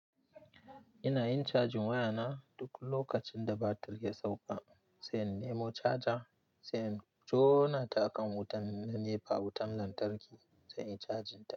Ina yin cajin wayana duk lokacin da batir ya sauka, sai in nemo caja, sai in jona takan wutan na nefa wutan lantarki, sai in cajin ta.